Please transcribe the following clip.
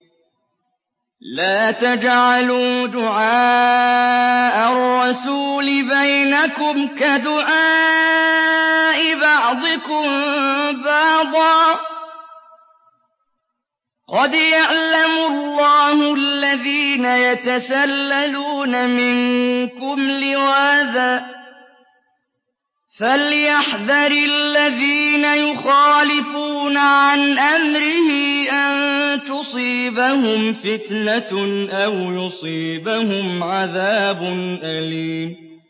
لَّا تَجْعَلُوا دُعَاءَ الرَّسُولِ بَيْنَكُمْ كَدُعَاءِ بَعْضِكُم بَعْضًا ۚ قَدْ يَعْلَمُ اللَّهُ الَّذِينَ يَتَسَلَّلُونَ مِنكُمْ لِوَاذًا ۚ فَلْيَحْذَرِ الَّذِينَ يُخَالِفُونَ عَنْ أَمْرِهِ أَن تُصِيبَهُمْ فِتْنَةٌ أَوْ يُصِيبَهُمْ عَذَابٌ أَلِيمٌ